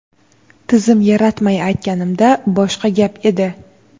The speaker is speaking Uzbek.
tizim yaratmay aytganimda boshqa gap edi.